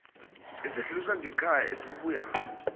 esidluliswa ngekhaya esibuya